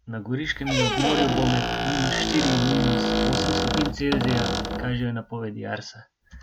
Na Goriškem in ob morju bo med minus štiri in minus osem stopinj Celzija, kažejo napovedi Arsa.